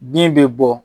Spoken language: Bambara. Bin bɛ bɔ